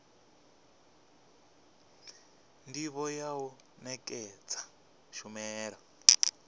ndivho ya u nekedza tshumelo